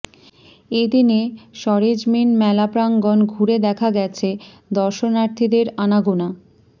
এদিনে সরেজমিন মেলা প্রাঙ্গণ ঘুরে দেখা গেছে দর্শনাথীদের আনাগোনা